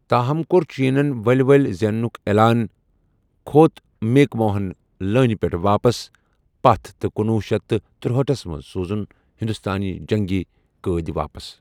تاہم، کوٚر چینن ؤلہِ ؤلہِ زینٛنُک عیلان، كھو٘ت میک موہن لٲنہِ پٮ۪ٹھ واپس پتھ تہٕ کُنوُہ شیتھ تہٕ ترٛہاٹھس منٛز سوٗزُن ہندوستٲنیہِ جنگی قۭدۍ واپس ۔